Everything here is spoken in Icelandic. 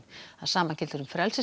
það sama gildir um